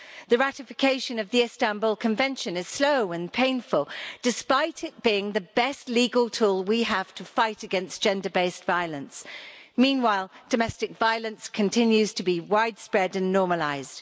The ratification of the Istanbul Convention is slow and painful despite it being the best legal tool we have to fight against gender based violence. Meanwhile, domestic violence continues to be widespread and normalised.